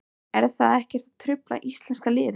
Er það ekkert að trufla íslenska liðið?